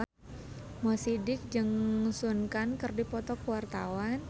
Mo Sidik jeung Sun Kang keur dipoto ku wartawan